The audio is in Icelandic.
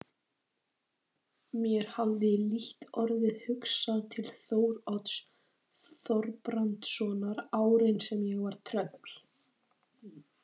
Mér hafði lítt orðið hugsað til Þórodds Þorbrandssonar árin sem ég var tröll.